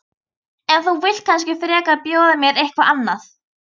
En þú vilt kannski frekar bjóða mér eitthvað annað?